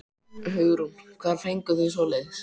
Hugrún: Hvar fenguð þið svoleiðis?